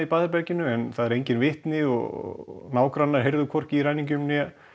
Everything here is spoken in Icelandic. baðherberginu en það eru engin vitni og nágrannar heyrðu hvorki í ræningjum né